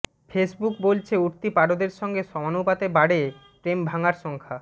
Facebook বলছে উঠতি পারদের সঙ্গে সমানুপাতে বাড়ে প্রেম ভাঙার সংখ্যা